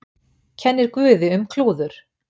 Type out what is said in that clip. Kennir guði um klúður